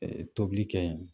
Tobili kɛ yen